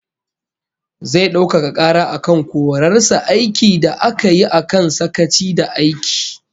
Zai daukaka kara akan korar sa aiki da aka yi akan sakaci da aiki